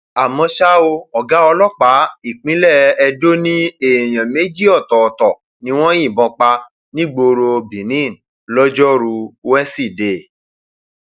àmọ ṣá o ọgá ọlọpàá ìpínlẹ edo ní èèyàn méjì ọtọọtọ ni wọn yìnbọn pa nígboro benin lọjọru wẹsídẹẹ